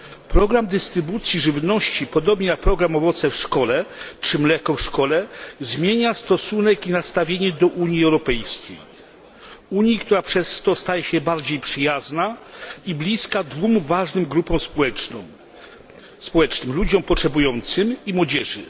Program dystrybucji żywności, podobnie jak program Owoce w szkole czy Mleko w szkole, zmienia stosunek i nastawienie do Unii Europejskiej, Unii, która przez to staje się bardziej przyjazna i bliska dwóm ważnym grupom społecznym ludziom potrzebującym i młodzieży.